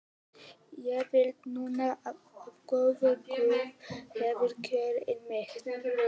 Ég veit núna að góður guð hefur kjörið mig.